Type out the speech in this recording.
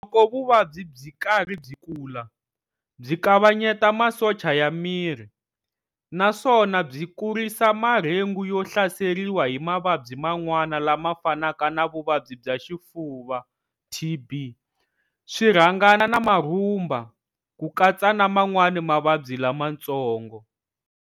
Loko vuvabyi byi karhi byi kula, byi kavanyeta masocha ya miri, naswona byi kurisa marhengu yo hlaseriwa hi mavabyi man'wana lama fanaka na vuvabyi bya xifuva TB, swirhangana na marhumba, kukatsa na man'wana mavabyi lama tsongo.